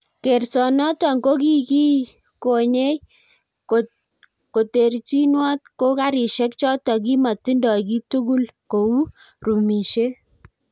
kersonoto kokikikonyei koterjinwot ko garishiek choto kimatindoi kiiy tugul kou rumishiet